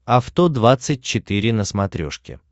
авто двадцать четыре на смотрешке